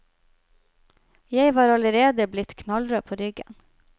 Jeg var allerede blitt knallrød på ryggen.